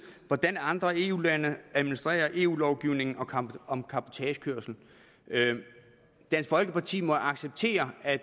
hvordan andre eu lande administrerer eu lovgivningen om om cabotagekørsel dansk folkeparti må acceptere at